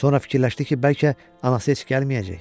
Sonra fikirləşdi ki, bəlkə anası heç gəlməyəcək?